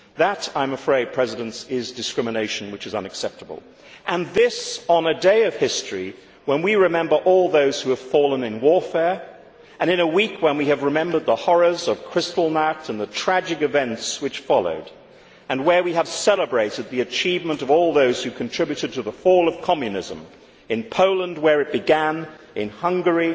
That, I am afraid, is discrimination which is unacceptable, and this on a day of history when we remember all those who have fallen in warfare and in a week when we have remembered the horrors of Kristallnacht and the tragic events which followed, and where we have celebrated the achievement of all those who contributed to the fall of Communism, in Poland, where it began, in Hungary,